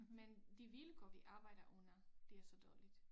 Men de vilkår vi arbejder under det er så dårligt